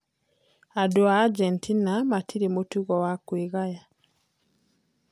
"Andũ a Argentina matirĩ mũtugo wa kwĩgaya".